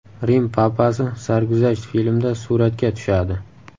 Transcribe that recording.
Rim papasi sarguzasht filmda suratga tushadi.